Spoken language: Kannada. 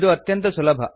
ಇದು ಅತ್ಯಂತ ಸುಲಭ